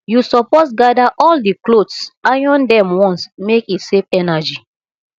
you suppose gada all di clothes iron dem once make e save energy